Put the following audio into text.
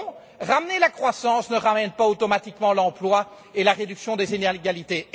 Non, ramener la croissance ne ramène pas automatiquement l'emploi et la réduction des inégalités.